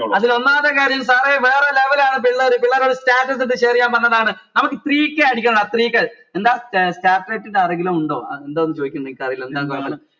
അതില് ഒന്നാമത്തെ കാര്യം sir എ വേറെ level ആണ് പിള്ളേർ പിള്ളേർ ഒരു status ഇട്ട് share എയാൻ പറഞ്ഞതാണ് നമക്ക് three k അടിക്കണട three k എന്താ ആരെങ്കിലും ഇണ്ടോ എന്താ അതാ ചെയ്കിണ്ട് എനിക്കറീല